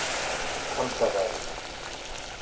Kambavaði